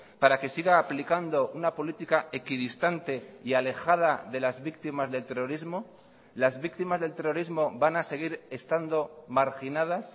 para que siga aplicando una política equidistante y alejada de las víctimas del terrorismo las víctimas del terrorismo van a seguir estando marginadas